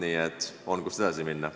Nii et on, kust edasi minna.